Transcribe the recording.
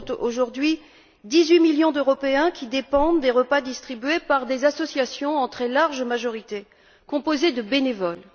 Ce sont aujourd'hui dix huit millions d'Européens qui dépendent des repas distribués par des associations en très large majorité composées de bénévoles.